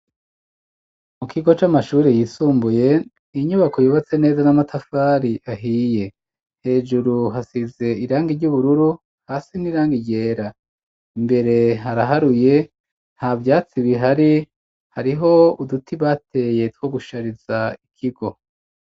Mu kigo c'amashure yisumbuye, inyubako yubatse neza, n'amatafari ahiye; hejuru hasize irangi ry'ubururu, hasi ni irangi ryera; imbere haraharuye, nta vyatsi bihari, hariho uduti bateye, two gushariza ikigo.